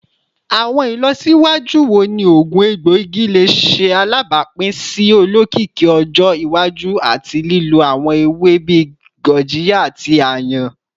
Awọn ilọsiwaju wo ni oogun egboigi le ṣe alabapin si olokiki ọjọ iwaju ati lilo awọn ewe bii gurjiya ati ayan?